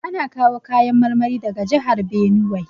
Ana kawo kayan marmari daga jihar Binuwai.